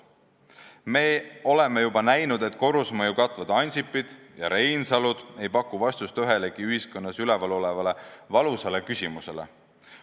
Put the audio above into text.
Me oleme juba näinud, et korrusmaju katvad Ansipid ja Reinsalud ei paku vastust ühelegi ühiskonnas esil olevale valusale küsimusele.